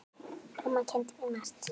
Mamma kenndi mér margt.